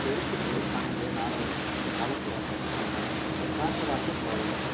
எழுத்துக்களை தாங்கிய நாணயம் இவன் காலத்து வரலாற்று சான்றாகும் ராசராச சோழன்